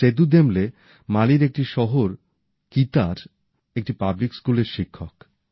Sedu Dembele মালির একটি শহর কিতার একটি পাবলিক স্কুলের শিক্ষক